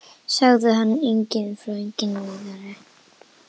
Ég sagði engum frá Viðari.